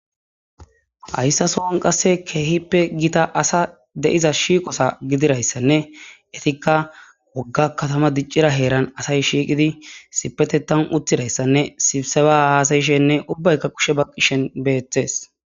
hayssa sowon qasse keehippe giita asa de7iza shiiqosa gidirayssanne etikka wogga katama diccira heeran asay shiiqidi sipete tan uttirayssanne sibseba aasayishenne ubbaykka kushe baqqishen beeththes